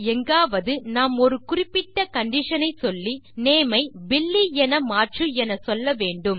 எங்காவது நாம் ஒரு குறிப்பிட்ட கண்டிஷன் ஐ சொல்லி நேம் ஐ பில்லி என மாற்று என்று சொல்ல வேண்டும்